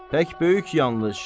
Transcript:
Pək böyük yanlış.